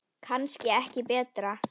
Kannski ekki betra.